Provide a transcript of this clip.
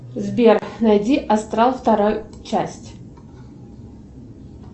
сбер найди астрал второй часть